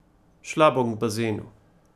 Šla bom k bazenu.